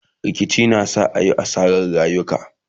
rikici na sa ayi asarar rayuka